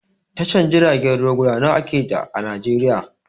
Tashar jiragen ruwa guda nawa ake da a Najeriya?